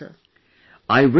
Thank you so much Sir